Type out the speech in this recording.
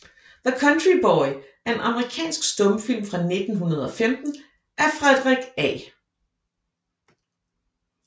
The Country Boy er en amerikansk stumfilm fra 1915 af Frederick A